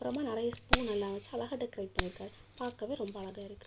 அப்பறமா நிறைய ஸ்பூன் எல்லா வெச்சு அழகா டெக்கரேட் பண்ணி இருக்காரு பாக்கவே ரொம்ப அழகா இருக்கு.